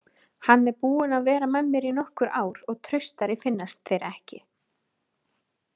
Hann er búinn að vera með mér í nokkur ár og traustari finnast þeir ekki.